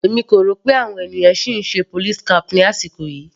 Èmi kò rò pé àwọn ènìyàn sì ń ṣe police cap ní àkókò yìí.